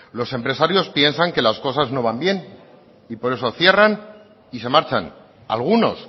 los empresarios piensan que las cosas no van bien y por eso cierran y se marchan algunos